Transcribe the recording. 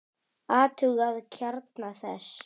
Athugað kjarna þess?